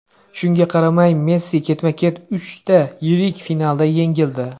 Shunga qaramay, Messi ketma-ket uchta yirik finalda yengildi.